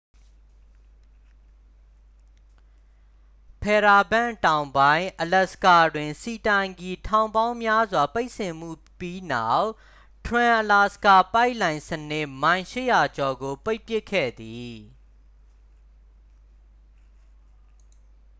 ဖဲရားဘန့် တောင်ပိုင်း အလက်စကာတွင် ဆီတိုင်ကီ ထောင်ပေါင်းများစွာ ဖိတ်စင်မှုပြီးနောက် ထရန်အလာစကာ ပိုက်လိုင်း စနစ် မိုင် 800 ကျော်ကို ပိတ်ပစ်ခဲ့သည်